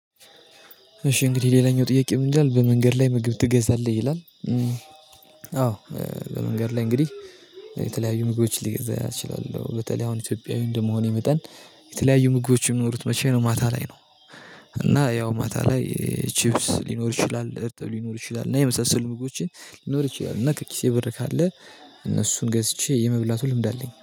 እሺ እንግዲህ ሌላኛው ጥያቄ ምን ይላል? በመንገድ ላይ ምግብ ትገዛለህ? ይላል። በመንገድ ላይ እንግዲህ የተለያዩ ምግቦችን ልገዛ እችላለው። በተለይ አሁን ኢትዮጵያዊ እንደመሆኔ መጠን የተለያዩ ምግቦች የሚኖሩት መቼ ነው ማታ ላይ ነው። እና ያው ማታ ላይ ቺፕስ ሊኖር ይችላል፣ እርጥብ ሊኖር ይችላል እና የመሳሰሉ ምግቦችን ሊኖር ይችላል። እና ከኪሴ ብር ካለ እነሱን ገዝቼ የመብላቱ ልምድ አለኝ።